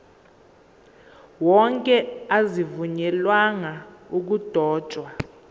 wonke azivunyelwanga ukudotshwa